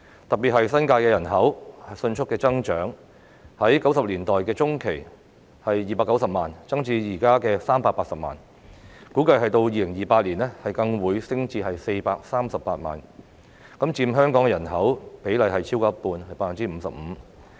特別是新界的人口迅速增長，由1990年代中期的290萬增至現時的380萬，估計到2028年更會升至438萬，佔香港的人口比例超過一半。